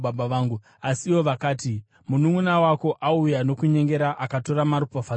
Asi ivo vakati, “Mununʼuna wako auya nokunyengera akatora maropafadzo ako.”